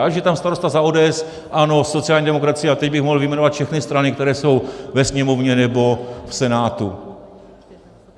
Ať je tam starosta za ODS, ANO, sociální demokracii - a teď bych mohl vyjmenovat všechny strany, které jsou ve Sněmovně nebo v Senátu.